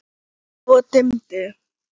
Svo dimmdi.